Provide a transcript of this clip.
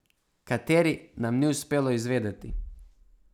Kateri, nam ni uspelo izvedeti.